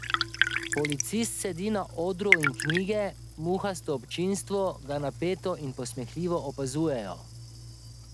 Policist sedi na odru in knjige, muhasto občinstvo, ga napeto in posmehljivo opazujejo.